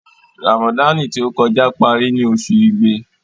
Ràmàdáànì tí ó kọjá parí ní oṣù Igbe.'